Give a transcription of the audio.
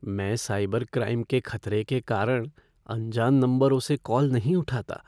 मैं cyber crime के खतरे के कारण अनजान नंबरों से कॉल नहीं उठाता।